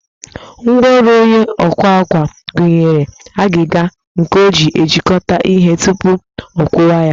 Ngwaọrụ onye ọkwa àkwá gụnyere agịga nke o ji ejikọta ihe tupu ọkwụkwa ya